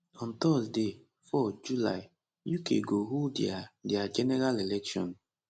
on thursday 4 july uk go hold dia dia general election